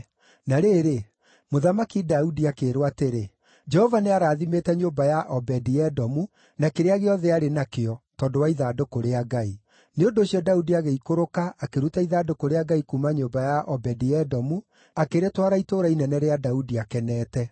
Na rĩrĩ, Mũthamaki Daudi akĩĩrwo atĩrĩ, “Jehova nĩarathimĩte nyũmba ya Obedi-Edomu na kĩrĩa gĩothe arĩ nakĩo, tondũ wa ithandũkũ rĩa Ngai.” Nĩ ũndũ ũcio Daudi agĩikũrũka akĩruta ithandũkũ rĩa Ngai kuuma nyũmba ya Obedi-Edomu akĩrĩtwara itũũra inene rĩa Daudi akenete.